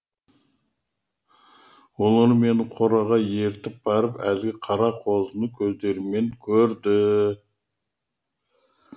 олар мені қораға ертіп барып әлгі қара қозыны өз көздерімен көрді